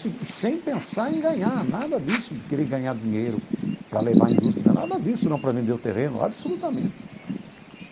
E sem pensar em ganhar, nada disso, de querer ganhar dinheiro para levar a indústria, nada disso, não para vender o terreno, absolutamente.